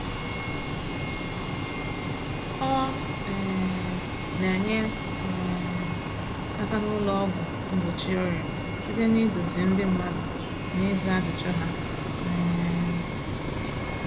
Ọ um na-enye um aka n’ụlọ ọgwụ mgbochi ọrịa site n’ịduzi ndị mmadụ na ịza ajụjụ ha. um